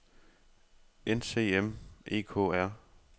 NCM EKR